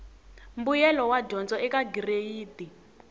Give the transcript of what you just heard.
mbuyelo wa dyondzo eka gireyidi